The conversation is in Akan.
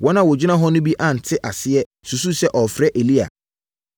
Wɔn a wɔgyina hɔ no bi ante aseɛ susuu sɛ ɔrefrɛ Elia.